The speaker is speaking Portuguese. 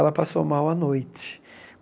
Ela passou mal à noite.